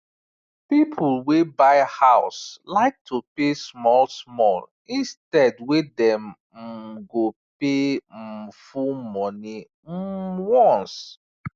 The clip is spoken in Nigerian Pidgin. people wey buy house like to pay smallsmall instead wey dem um go pay um full money um once